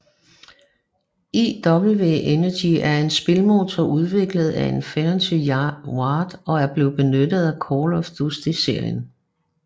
IW Engine er en spilmotor udviklet af Infinity Ward og bliver benyttet til Call of Duty serien